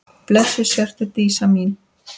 Blessuð sértu Dísa mín.